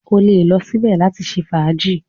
O lè lọ síbẹ̀ láti ṣe fàájì.